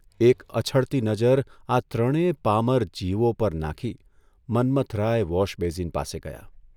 એક અછડતી નજર આ ત્રણેય પામર 'જીવો પર નાંખી મન્મથરાય વોશબેઝીન પાસે ગયા.